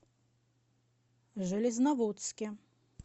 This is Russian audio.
железноводске